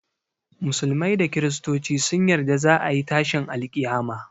Musulmai da kristoci sun yarda za a yi tashin alƙiyama